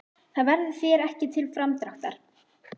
Það verður þér ekki til framdráttar.